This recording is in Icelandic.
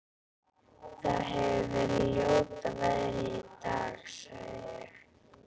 Það hefir verið ljóta veðrið í dag- sagði ég.